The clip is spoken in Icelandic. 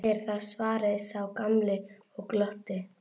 Þú segir það, svaraði sá gamli og glotti.